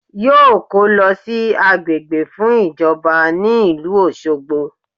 Yóò kó lọ sí agbègbè fún ìjọba ní ìlú Òṣogbo